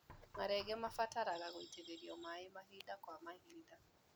Marenge mabataraga gũitĩrĩrio maĩ mahinda kwa mahinda.